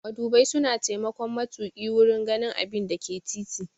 Madubai suna taimakon matuƙi wurin ganin abinda ke titi.